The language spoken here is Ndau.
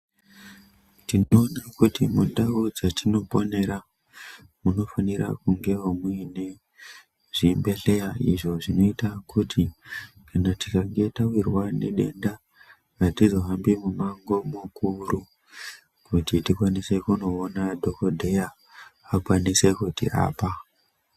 Tinoda kuti mundau dzatinoponera munofanira kunge muine zvibhedhleya izvo zvinoita kuti kana tikange tawirwa nedenda atizohambi mumango mukuru kuti tikwanise kuonowona dhokodheya akwanise kutirapa.